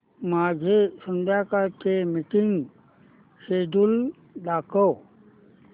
माझे संध्याकाळ चे मीटिंग श्येड्यूल दाखव